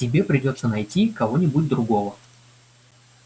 тебе придётся найти кого-нибудь другого